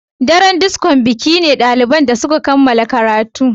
Daren disco biki ne na daliban da suka kammala karatu.